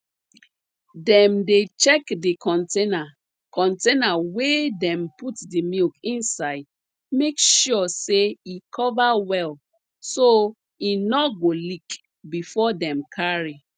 dem dey check d container container wey dem put de milk inside make sure say e cover well so e nor go leak before dem carry